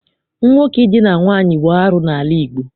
Nwoke Idina nwaanyị bụ arụ n'ala Igbo.